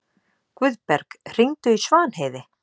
Guðberg, hringdu í Svanheiði.